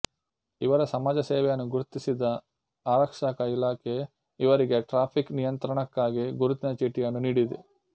ಇವರ ಸಮಾಜಸೇವೆಯನ್ನು ಗುರ್ತಿಸಿದ ಆರಕ್ಷಕ ಇಲಾಖೆ ಇವರಿಗೆ ಟ್ರಾಫಿಕ್ ನಿಯಂತ್ರಣಕ್ಕಾಗಿ ಗುರುತಿನ ಚೀಟಿಯನ್ನು ನೀಡಿದೆ